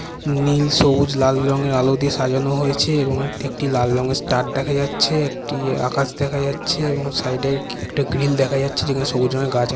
নীল সবুজ লাল রঙের আলো দিয়ে সাজানো হয়েছে এবং একটি লাল রঙের স্টার দেখা যাচ্ছে একটি আকাশ দেখা যাচ্ছে এবং সাইড -এ একটা গ্রিল দেখা যাচ্ছে এবং যেখানে সবুজ রঙের গাছ আ--